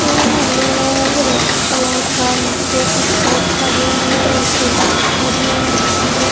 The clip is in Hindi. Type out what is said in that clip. पिंक ब्लू रेड कलर का नीचे कुछ लोग खड़े हैं एक लेडी खड़ी है बाम्बू--